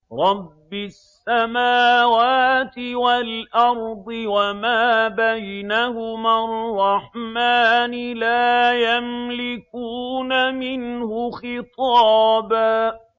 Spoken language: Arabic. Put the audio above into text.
رَّبِّ السَّمَاوَاتِ وَالْأَرْضِ وَمَا بَيْنَهُمَا الرَّحْمَٰنِ ۖ لَا يَمْلِكُونَ مِنْهُ خِطَابًا